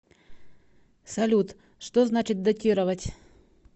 салют что значит дотировать